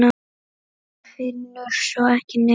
En finnur svo ekki neitt.